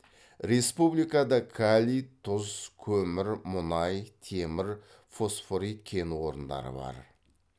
республикада калий тұз көмір мұнай темір фосфорит кен орындары бар